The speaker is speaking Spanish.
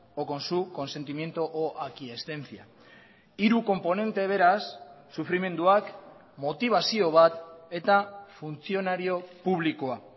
o con su consentimiento o aquiescencia hiru konponente beraz sufrimenduak motibazio bat eta funtzionario publikoa